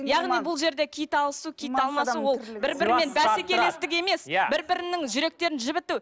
яғни бұл жерде киіт алысу киіт алмасу ол бір бірімен бәсекелестік емес иә бір бірінің жүректерін жібіту